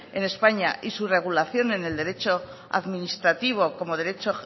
en españa y su regulación en el derecho administrativo como derecho